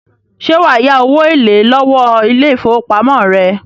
Ṣẹ́ wà á yá owó èlé lọ́wó ile-ifowópamọ́ rẹ.